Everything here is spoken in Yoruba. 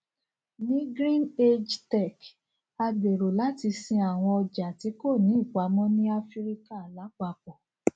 ní greenage tech a gbèrò láti sin àwọn ọjà tí kò ní ìpamọ ní áfíríkà lápapọ